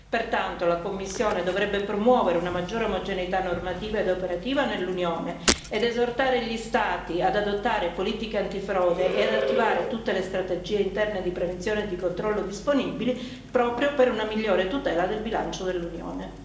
Pertanto, la Commissione dovrebbe promuovere una maggiore omogeneità normativa ed operativa nell'Unione ed esortare gli Stati ad adottare politiche antifrode e ad attivare tutte le strategie interne di prevenzione e di controllo disponibili, proprio per una migliore tutela del bilancio dell'Unione.